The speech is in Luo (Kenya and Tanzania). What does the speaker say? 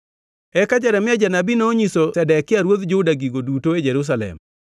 Eka Jeremia janabi nonyiso Zedekia ruodh Juda gigo duto e Jerusalem,